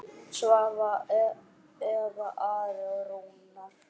Svava, Eva, Ari og Rúnar.